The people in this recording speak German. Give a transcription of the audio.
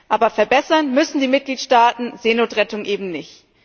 Aber verbessern müssen die Mitgliedstaaten Seenotrettung eben nicht.